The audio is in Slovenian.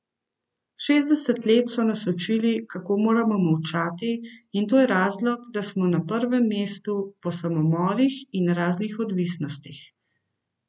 Šestdeset let so nas učili, kako moramo molčati, in to je razlog, da smo na prvem mestu po samomorih in raznih odvisnostih.